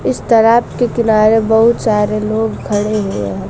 इस तालाब के किनारे बहुत सारे लोग खड़े हुए हैं।